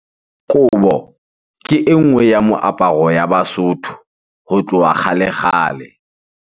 Kobo ke e nngwe ya moaparo ya Basotho ho tloha kgale-kgale.